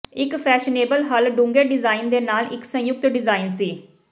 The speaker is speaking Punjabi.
ਇੱਕ ਫੈਸ਼ਨੇਬਲ ਹੱਲ਼ ਡੂੰਘੇ ਡਿਜ਼ਾਈਨ ਦੇ ਨਾਲ ਇਕ ਸੰਯੁਕਤ ਡਿਜ਼ਾਇਨ ਸੀ